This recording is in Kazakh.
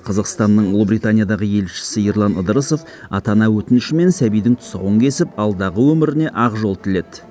қазақстанның ұлыбританиядағы елшісі ерлан ыдырысов ата ана өтінішімен сәбидің тұсауын кесіп алдағы өміріне ақ жол тіледі